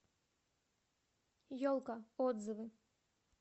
елка отзывы